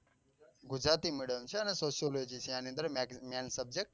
Gujarati medium છે. અને sociology છે અને main subject